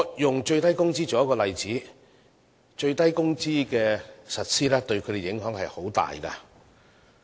以最低工資為例，實施最低工資對它們影響很大。